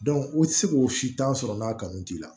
u tɛ se k'o sitan sɔrɔ n'a kanu t'i la